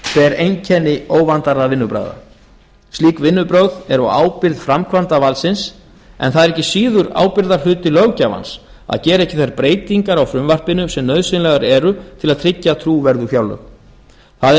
ber einkenni óvandaðra vinnubragða slík vinnubrögð eru á ábyrgð framkvæmdarvaldsins en það er ekki síður ábyrgðarhluti löggjafans að gera ekki þær breytingar á frumvarpinu sem nauðsynlegar eru til að tryggja trúverðug fjárlög það er